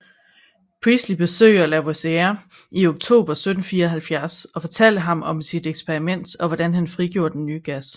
Priestley besøgte Lavoisier i oktober 1774 og fortalte ham om sit eksperiment og hvordan han frigjorde den nye gas